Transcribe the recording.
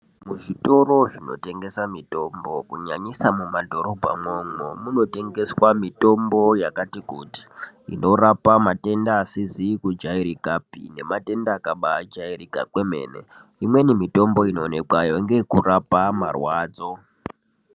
Muzvitoro Zvinotengeswa mitombo kunyanyisa mumadhorobha imwomwo munotengeswa mitombo yakati kuti inorapa matenda asizi kujairikapi nematenda akaba jairika kwemene imweni mitombo inoonekwayo ndeye yekurapa marwadzo.